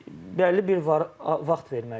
Bəlli bir vaxt verməliyik də.